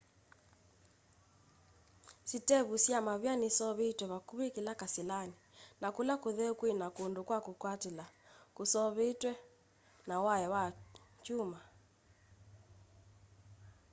sĩtevu sya mavia niseũvĩtw'e vakũvĩ kĩla kasĩlanĩ na kũla kũtheeũ kwĩna kũndũ kwa kwĩkwatĩla kũseũvĩtw'e na waya wa kyũma